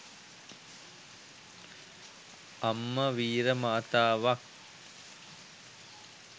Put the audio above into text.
අම්ම වීර මාතාවක්